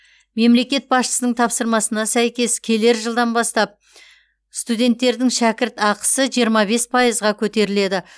мемлекет басшысының тапсырмасына сәйкес келер жылдан бастап студенттердің шәкіртақысы жиырма бес пайызға көтеріледі